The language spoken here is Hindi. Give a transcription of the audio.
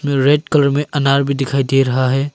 रेड कलर में अनार भी दिखाई दे रहा है।